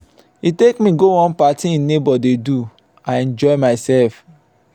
he take me go one party im neighbor dey do. i enjoy myself.